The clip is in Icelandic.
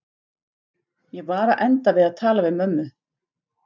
Ég var að enda við að tala við mömmu.